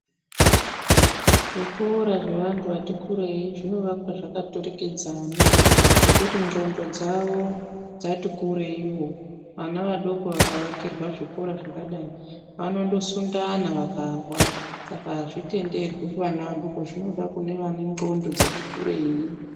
Zvikora zvevantu vati kurei zvinovakwa zvakaturikidzana ngekuti ndxondo dzavo dzati kureiwo, vana vadoko vakaakirwa zvikora zvakadai vanondosundana vakawa saka azvitenderwi kuvaba vadoko zvinoda kune vane ndxondo dzati kurei.